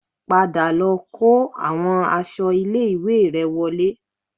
Padà lọ kó àwọn aṣọ ilé-ìwé rẹ wọlé